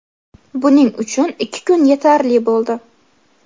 Buning uchun ikki kun yetarli bo‘ldi.